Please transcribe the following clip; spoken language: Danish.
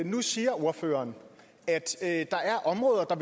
nu siger ordføreren at der er områder